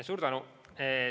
Suur tänu!